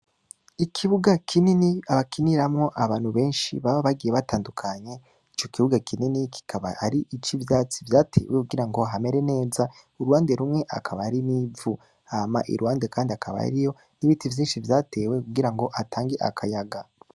ikibuga kinini bakiniramwo abantu beshi, bagiye batandukanye, ico kuvuga kinini akaba ari ic'ivyatsi vyatewe kugira hamere neza, Uruhande rumwe hakaba hari n'ivu, Hama iruhande kandi hakaba hariho ibiti vyinshi vyatewe kugirango, Hatange akayaga.